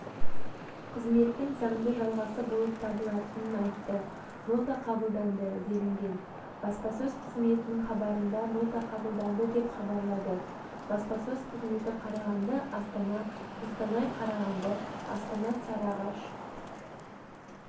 қызметтің заңды жалғасы болып табылатынын айтты нота қабылданды делінген баспасөз қызметінің хабарында нота қабылданды деп хабарлады баспасөз қызметі қарағанды-астана қостанай-қарағанды астана-сарыағаш